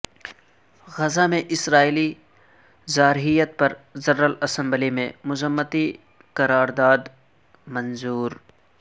غزہ میں اسرائیلی جارحیت پرجنرل اسمبلی میں مذمتی قرارداد منظور